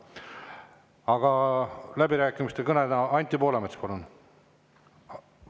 Aga läbirääkimiste kõneleja, Anti Poolamets, palun!